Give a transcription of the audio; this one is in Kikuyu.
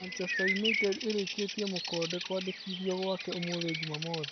Manchester Yunaitedi ĩkĩrĩte mũkonde kwandĩkithio gwake ũmũthĩ Jumamothi.